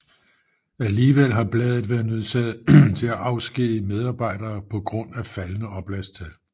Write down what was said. Alligevel har bladet været nødsaget til at afskedige medarbejdere på grund af faldende oplagstal